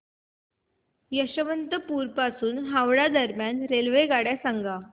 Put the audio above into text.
यशवंतपुर पासून हावडा दरम्यान रेल्वेगाड्या सांगा